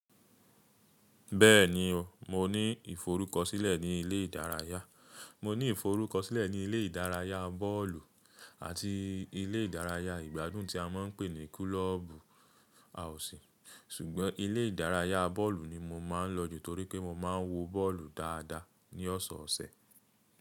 Bẹ́ẹ̀ni o, mo ní ìforúkọsílẹ̀ ní ilé ìdárayá. Mo ní ìforúkọsílẹ̀ ní ilé ìdárayá bọ́ọ̀lù àti ilé ìdárayá ìgbádùn tí a máa ń pè ní kulọ́ọ̀bù àwùsí. Ṣùgbọ́n ilé ìdárayá bọ́ọ̀lù ni mo máa ń lọ jù torí pé mo máa ń wo bọ́ọ̀lù dáadáa ní ọ̀sọ̀ọ̀sẹ̀.